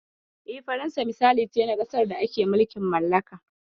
Yes, France is an example of autocratical nation.